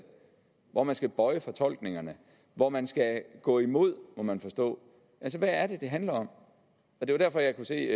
hvor man skal bøje fortolkningerne og hvor man skal gå imod må man forstå altså hvad er det det handler om det var der jeg kunne se